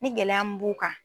Ni gɛlɛya min b'u kan